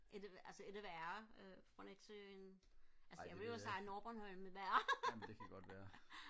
er det altså er det værre øh fra Nexø end altså jeg ville jo sige nordbornholm er værre